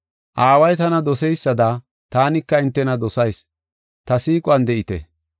Aaway tana doseysada taanika hintena dosayis; ta siiquwan de7ite.